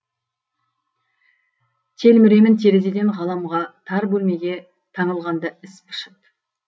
телміремін терезеден ғаламға тар бөлмеге таңылғанда іс пышып